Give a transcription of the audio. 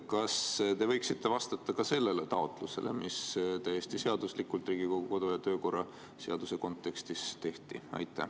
Kas te võiksite vastata ka sellele taotlusele, mis täiesti seaduslikult Riigikogu kodu‑ ja töökorra seaduse kontekstis tehti?